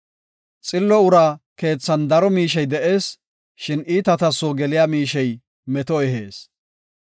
Xillo uraa keethan daro miishey de7ees; shin iitata soo geliya miishey meto ehees.